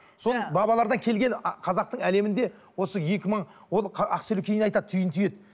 сол бабалардан келген қазақтың әлемінде осы екі мың ол ақселеу кейін айтады түйін түйеді